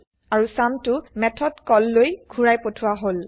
আৰু চাম টো মেথড callলৈ ঘুৰাই পঠোৱা হল